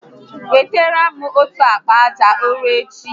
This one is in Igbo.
Wetara m otu akpa aja ụrọ echi